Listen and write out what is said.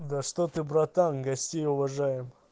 да что ты братан гостей уважаю